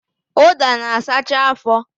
Ụda na-asacha afọ